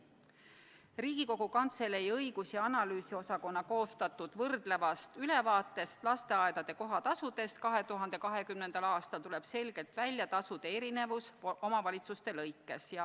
Riigikogu Kantselei õigus- ja analüüsiosakonna koostatud võrdlevast ülevaatest lasteaedade kohatasudest 2020. aastal tuleb selgelt välja tasude erinevus omavalitsuste lõikes.